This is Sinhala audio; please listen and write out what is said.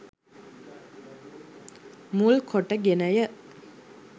මුල් කොට ගෙන ය.